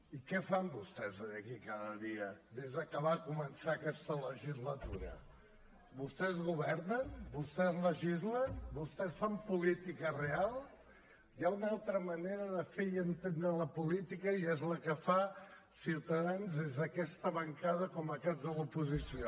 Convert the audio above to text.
i què fan vostès aquí cada dia des de que va començar aquesta legislatura vostès governen vostès legislen vostès fan política real hi ha una altra manera de fer i entendre la política i és la que fa ciutadans des d’aquesta bancada com a caps de l’oposició